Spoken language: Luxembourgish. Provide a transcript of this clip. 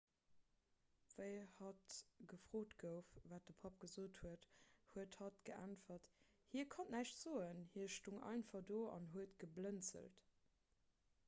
wéi hatt gefrot gouf wat de papp gesot huet huet hatt geäntwert hie konnt näischt soen hie stoung einfach do an huet geblënzelt